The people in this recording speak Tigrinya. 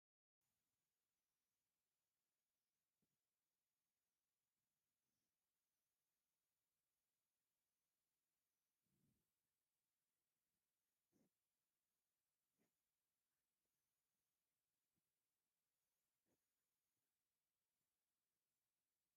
ኣንበሳ ዝምልክቱ ናይ ሰብዓ እንድርታ ኣርማ ዘውለብልብ መንእሰይ ይርአ ኣሎ፡፡ "ሰብአ እንድርታ" ማለት ደቂ እንድርታ ማለት እዩ፡፡ ሰብዓ እንደርታ ደኣ እንታይ ማለት እዩ?